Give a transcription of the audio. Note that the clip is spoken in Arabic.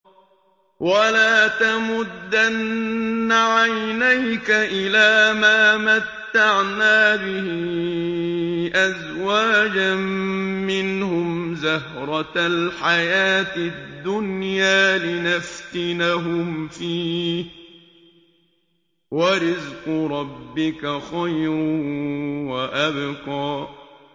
وَلَا تَمُدَّنَّ عَيْنَيْكَ إِلَىٰ مَا مَتَّعْنَا بِهِ أَزْوَاجًا مِّنْهُمْ زَهْرَةَ الْحَيَاةِ الدُّنْيَا لِنَفْتِنَهُمْ فِيهِ ۚ وَرِزْقُ رَبِّكَ خَيْرٌ وَأَبْقَىٰ